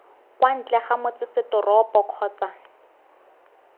kwa ntle ga motsesetoropo kgotsa